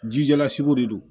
Jijɛlasigi de don